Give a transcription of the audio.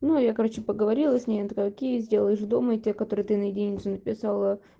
ну я короче поговорила с ней она такое окей сделаешь дома и те которые ты на единицу написала